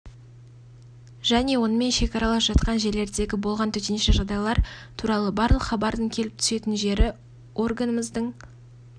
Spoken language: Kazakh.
және онымен шекаралас жатқан жерлердегі болған төтенше жағдайлар туралы барлық хабардың келіп түсетін жері органымыздың